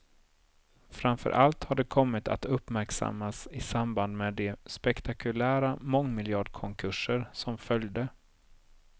Framför allt har det kommit att uppmärksammas i samband med de spektakulära mångmiljardkonkurser som följde.